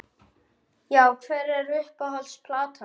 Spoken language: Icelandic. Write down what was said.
Já Hver er uppáhalds platan þín?